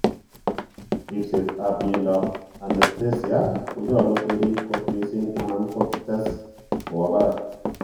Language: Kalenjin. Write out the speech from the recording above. Ripset ap miondap anesthesia konyolu kerip kot missing amun tot kostets kowa parak.